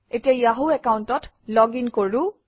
এতিয়া য়াহু একাউণ্টত লগিন কৰোঁ